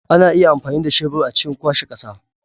Ana iya amfani da shebur a cikin kwashe ƙasa.